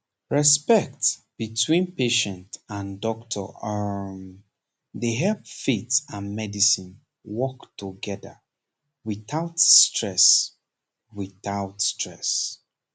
respect between patient and doctor um dey help faith and medicine work together without stress without stress